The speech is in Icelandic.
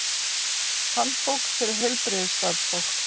Handbók fyrir heilbrigðisstarfsfólk.